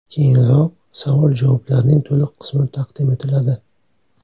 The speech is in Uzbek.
Keyinroq savol-javoblarning to‘liq qismi taqdim etiladi.